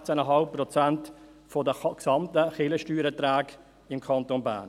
Es sind etwa 16,5 Prozent der gesamten Kirchensteuererträge im Kanton Bern.